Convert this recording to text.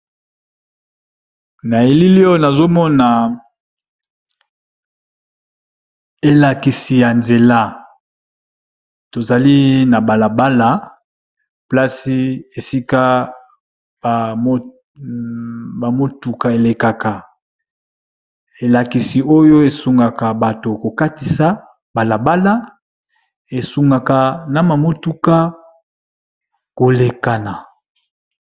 na elileo nazomona elakisi ya nzela tozali na balabala plasi esika bamotuka elekaka elakisi oyo esungaka bato kokatisa balabala esungaka na mamotuka kolekana